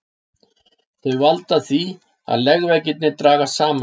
Þau valda því að legveggirnir dragast saman.